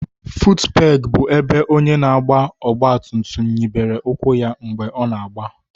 futupegi bụ ebe onye na-agba ọgba tum tum nyibere ụkwụ ya mgbe ọ na-agba